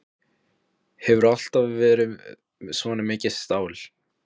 Hefurðu alltaf verið svona mikið stál?